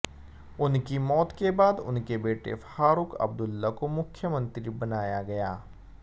उनकी मौत के बाद उनके बेटे फारूक अब्दुल्ला को मुख्य मंत्री बनाया गया